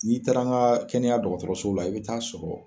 N'i taara n ka kɛnɛya dɔgɔtɔrɔsow la i bi taa sɔrɔ.